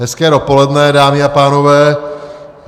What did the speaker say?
Hezké dopoledne, dámy a pánové.